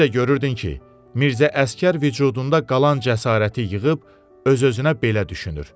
Bir də görürdün ki, Mirzə Əsgər vücudunda qalan cəsarəti yığıb öz-özünə belə düşünür.